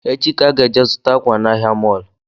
Echi ka anyị ga-eje zụta akwa na ahịa mọlụ